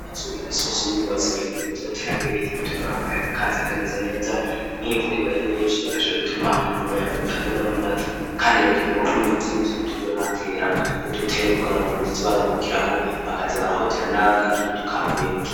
Imisi yose y'urubanza bereka niwe ko turotera amwe biti bituma akayaga kazi akameze neza nk'imvura baye nyinshi bugaye bituma umuyaga utabomora amadirisha kandi birakenerwa ko numunyi bituzura nkatera nkudutebe kugora abantu badezi barahukiraho bakaza barahotera n'agatutu kavuye.